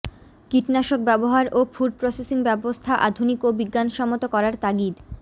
কীটনাশক ব্যবহার ও ফুড প্রসেসিং ব্যবস্থা আধুনিক ও বিজ্ঞানসম্মত করার তাগিদ